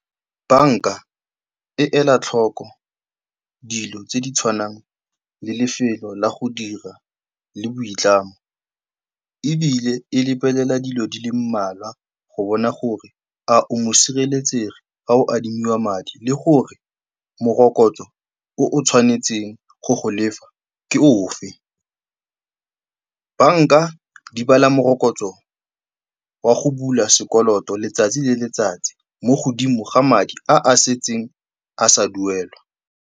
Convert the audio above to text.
Banka e ela tlhoko dilo tse di tshwanang le lefelo la go dira le boitlamo ebile e lebelela dilo di le mmalwa go bona gore a o mosireletsegi fa o adimiwa madi, le gore morokotso o o tshwanetseng go o lefa ke ofe. Banka di bala morokotso wa go bula sekoloto letsatsi le letsatsi mo godimo ga madi a a setseng a sa duelwa.